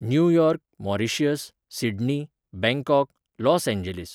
New York, Mauritius, Sydney, Bangkok, Los Angeles